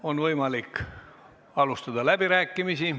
On võimalik alustada läbirääkimisi.